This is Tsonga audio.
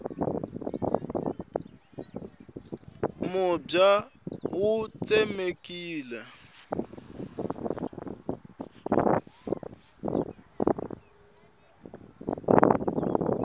mubya wu tsemekile